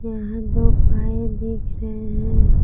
यहां दो पाये दिख रहे हैं।